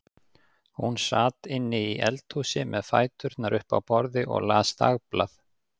Hún sat inni í eldhúsi með fæturna upp á borði og las dagblað.